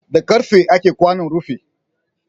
Da karfe ake kwanon rufi